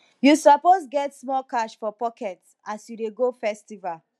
you suppose get small cash for pocket as you dey go festival